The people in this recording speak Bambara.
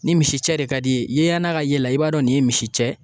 Ni misicɛ de ka di i ye yenɲɛna na i b'a dɔn nin ye misicɛ ye